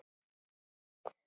Ég heiti Elín Anna.